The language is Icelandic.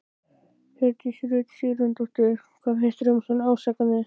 Hjördís Rut Sigurjónsdóttir: Hvað finnst þér um svona ásakanir?